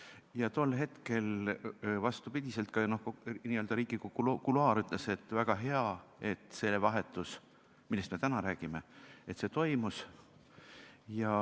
Ja tol hetkel oli n-ö Riigikogu kuluaarides kuulda, et väga hea, et selline vahetus, millest me täna räägime, toimus.